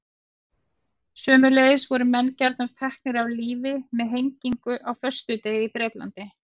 Sömuleiðis voru menn gjarnan teknir af lífi með hengingu á föstudegi í Bretlandi.